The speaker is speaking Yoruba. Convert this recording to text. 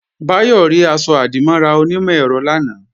Báyọ̀ rí aṣọ-àdìmọ́ra onímọ̀-ẹ̀rọ lánàá